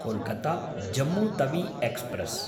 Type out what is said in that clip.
Kolkata Jammu Tawi express